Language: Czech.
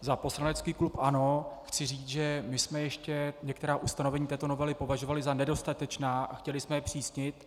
za poslanecký klub ANO chci říct, že my jsme ještě některá ustanovení této novely považovali za nedostatečná a chtěli jsme je zpřísnit.